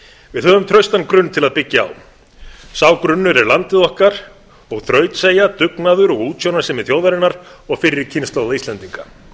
við höfum traustan grunn til að byggja á sá grunnur er landið okkar og þrautseigja dugnaður og útsjónarsemi þjóðarinnar og fyrri kynslóða íslendinga